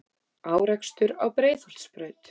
Árekstur á Breiðholtsbraut